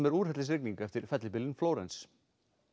er úrhellisrigning eftir fellibylinn Flórens